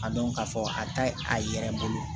A dɔn k'a fɔ a ye a yɛrɛ bolo